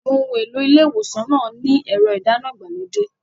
Àwọn ohun èlò ilé ìwòsàn náà ní ẹ̀rọ ìdáná ìgbàlódé.